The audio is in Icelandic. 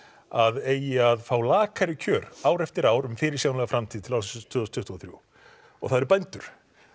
að eigi að fá lakari kjör ár eftir ár um fyrirsjáanlega framtíð til ársins tvö þúsund tuttugu og þrjú og það eru bændur